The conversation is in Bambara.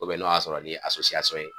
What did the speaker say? n'o y'a sɔrɔ n'i ye ye.